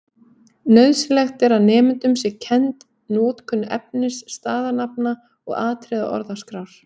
Nauðsynlegt er að nemendum sé kennd notkun efnis-, staðanafna- og atriðisorðaskrár.